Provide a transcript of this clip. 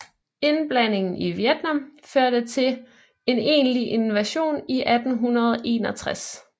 Indblandingen i Vietnam førte til en egentlig invasion i 1861